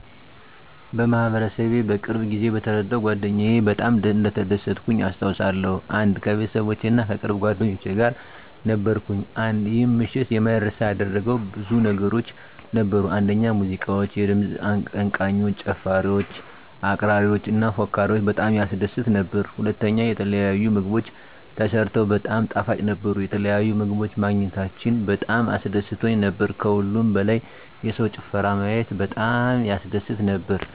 1. በማህበረሰቤ በቅርብ ጊዜ በተዳረው ጓደኛየ በጣም እንደተደሰትኩኝ አስታውሳለሁ። 1. ከቤተሰቦቼ እና ከቅርብ ጓደኞቼ ጋር ነበርኩኝ። 1. ይህን ምሽት የማይረሳ ያደረገው ብዙ ነገሮች ነበሩ፤ አንደኛ ሙዚቃዎች፣ የድምፅ አቀንቃኞች፣ ጨፋሪወች፣ አቅራሪዎች እና ፎካሪወች በጣም ያስደስት ነበር። *ሁለተኛ፣ የተለያዩ ምግቦች ተሰርተው በጣም ጣፋጭ ነበሩ፣ የተለያዩ ምግቦች ማግኘታችን በጣም አስደስቶን ነበር። ከሁሉም በላይ የሰውን ጭፈራ ማየት በጣም ያስደስት ነበር።